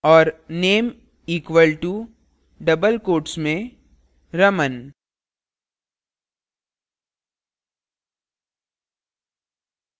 और name equal to double quotes में raman